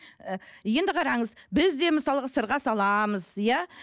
і енді қараңыз бізде мысалға сырға саламыз иә